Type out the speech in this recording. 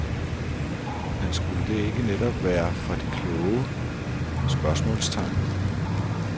Men skulle det ikke netop være for de kloge? spørgsmålstegn